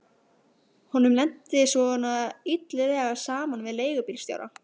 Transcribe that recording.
Honum lenti svona illilega saman við leigubílstjóra.